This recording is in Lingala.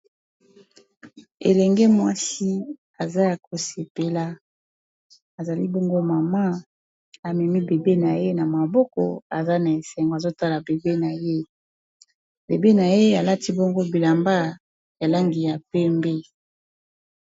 Elenge mwasi aza ya kosepela azali bongo mama amemi bebe na ye na maboko aza na esengo azotala bebe na ye bebe na ye alati bongo bilamba ya langi ya pembe.